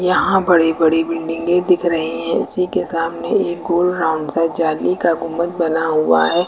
यहां बड़ी बड़ी बिल्डिंगे दिख रही है उसी के सामने एक गोल राउंड सा जाली का गुंबद बना हुआ है।